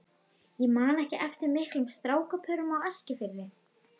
Ég man ekki eftir miklum strákapörum á Eskifirði.